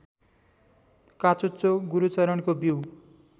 काचुच्चो गुरूच्चरणको बिउ